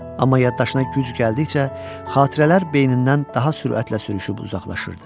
Amma yaddaşına güc gəldikcə xatirələr beynindən daha sürətlə sürüşüb uzaqlaşırdı.